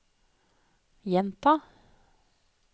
gjenta